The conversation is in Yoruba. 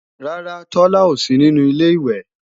Rárá, Tola ò sí nínú Ilé-ìwẹ̀